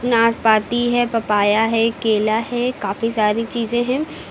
नाशपाती है पपाया है केला है। काफी सारी चीजे हैं।